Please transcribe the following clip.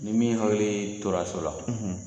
Ni min hakili tora so la